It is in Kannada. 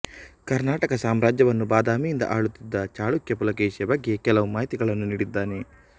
ಕರ್ನಾಟಕ ಸಾಮ್ರಾಜ್ಯವನ್ನು ಬಾದಾಮಿಯಿಂದ ಆಳುತ್ತಿದ್ದ ಚಾಳುಕ್ಯ ಪುಲಕೇಶಿಯ ಬಗ್ಗೆ ಕೆಲವು ಮಾಹಿತಿಗಳನ್ನು ನೀಡಿದ್ದಾನೆ